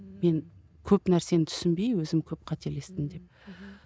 мен көп нәрсені түсінбей өзім көп қателестім деп мхм